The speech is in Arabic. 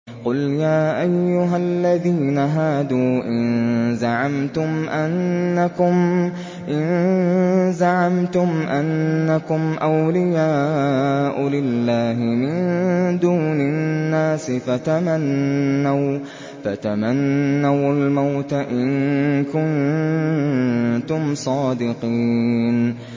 قُلْ يَا أَيُّهَا الَّذِينَ هَادُوا إِن زَعَمْتُمْ أَنَّكُمْ أَوْلِيَاءُ لِلَّهِ مِن دُونِ النَّاسِ فَتَمَنَّوُا الْمَوْتَ إِن كُنتُمْ صَادِقِينَ